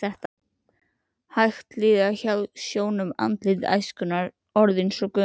Hægt líða hjá sjónum andlit æskunnar orðin svo gömul.